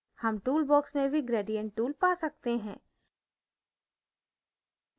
हम tool box में भी gradient tool पा सकते हैं